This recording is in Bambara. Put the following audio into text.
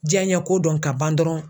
Jiyanɲɛko dɔn ka ban dɔrɔn